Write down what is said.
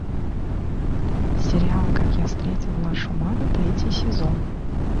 сериал как я встретил вашу маму третий сезон